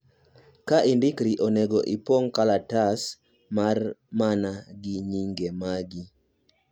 ka indikri, onego ipng kalatas mar man gi nyinge ni magi